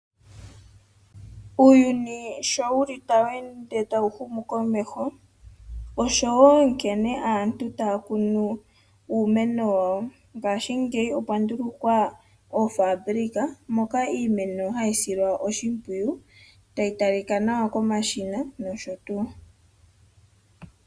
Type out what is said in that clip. Uuyuni sho wu li tawu ende tawu humu komeho, oshowo nkene aantu taa kunu uumeno wawo. Ngashingeyi okwa ndulukwa oofaabulika moka iimeno hayi silwa oshimpwiyu, tayi talika nawa komashina nosho tuu.